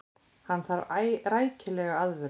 Hann þarf rækilega aðvörun.